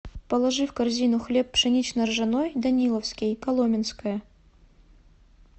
положи в корзину хлеб пшенично ржаной даниловский коломенское